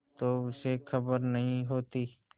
तो उसे खबर नहीं होती